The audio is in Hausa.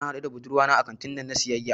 Na haɗu da budurwata a kantinan siyayya.